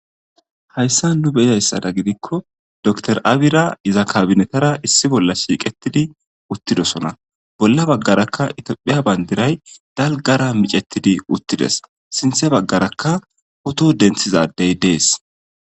hayssa nu beyayssada gidikko dor abira iza kabinetara issi bolla shiiqettidi uttidosona bolla baggarakka itophiya bayndiray dalgara micettidi uttides sinthe baggarakka hoto denthizaddey dees.